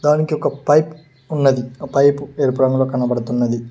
దానికి ఒక పైప్ ఉన్నది ఆ పైపు ఎరుపు రంగులో కనబడుతున్నది.